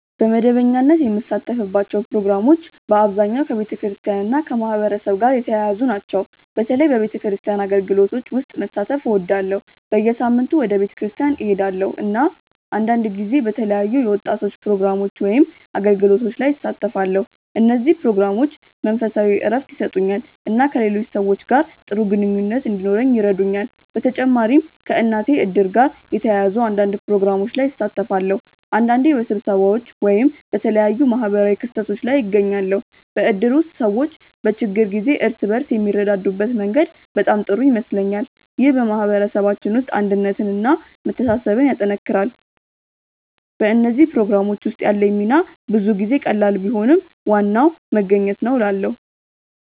በመደበኛነት የምሳተፍባቸው ፕሮግራሞች በአብዛኛው ከቤተክርስቲያን እና ከማህበረሰብ ጋር የተያያዙ ናቸው። በተለይ በቤተክርስቲያን አገልግሎቶች ውስጥ መሳተፍ እወዳለሁ። በየሳምንቱ ወደ ቤተክርስቲያን እሄዳለሁ፣ እና አንዳንድ ጊዜ በተለያዩ የወጣቶች ፕሮግራሞች ወይም አገልግሎቶች ላይ እሳተፋለሁ። እነዚህ ፕሮግራሞች መንፈሳዊ እረፍት ይሰጡኛል እና ከሌሎች ሰዎች ጋር ጥሩ ግንኙነት እንዲኖረኝ ይረዱኛል። በተጨማሪም ከእናቴ እድር ጋር የተያያዙ አንዳንድ ፕሮግራሞች ላይ እሳተፋለሁ። አንዳንዴ በስብሰባዎች ወይም በተለያዩ ማህበራዊ ክስተቶች ላይ እገኛለሁ። በእድር ውስጥ ሰዎች በችግር ጊዜ እርስ በርስ የሚረዳዱበት መንገድ በጣም ጥሩ ይመስለኛል። ይህ በማህበረሰባችን ውስጥ አንድነትን እና መተሳሰብን ያጠናክራል። በእነዚህ ፕሮግራሞች ውስጥ ያለኝ ሚና ብዙ ጊዜ ቀላል ቢሆንም ዋናው መገኘት ነው እላለ